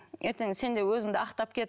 ертең сен де өзінді ақтап кет